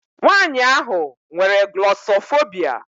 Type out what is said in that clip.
Nwaanyị ahụ nwere glọsọfobia.